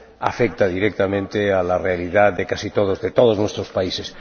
afecta directamente a la realidad de casi todos, de todos nuestros países.